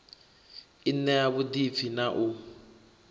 i ṋea vhuḓipfi na u